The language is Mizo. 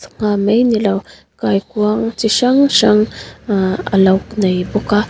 ngha mai ni lo kaikuang chi hrang hrang aa alo nei bawk a.